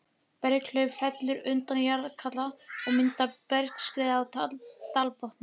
Berghlaup fellur undan jarðlagahalla og myndar bergskriðu á dalbotninum.